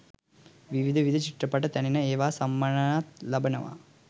විවිධ විවිධ චිත්‍රපට තැනෙනවා ඒවා සම්මානත් ලබනවා.